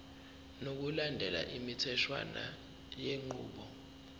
ngokulandela imitheshwana yenqubo